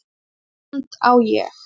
Þetta land á ég.